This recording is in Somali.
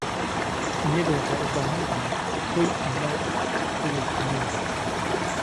Shinnidu waxay u baahan tahay hoy ammaan ah sida shinnida.